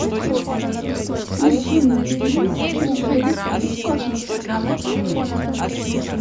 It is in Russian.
включи мне фильм пришелец из космоса